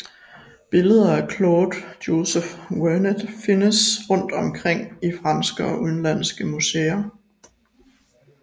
Billeder af Claude Joseph Vernet findes rundt om i franske og udenlandske museer